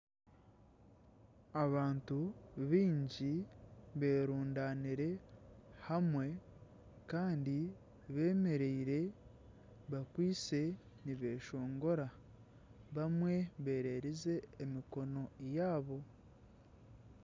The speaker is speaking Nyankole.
Abantu baingi berundaniire hamwe Kandi bemereire bakwaitse nibeshongora bamwe bererize emikono yaabo